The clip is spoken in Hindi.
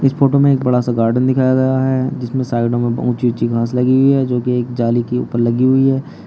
इस फोटो में एक बड़ा सा गार्डन दिखाया गया है जिसमें साइडों में बहुत ऊँची ऊँची घास लगी हुई है जो कि एक जाली के ऊपर लगी हुई है।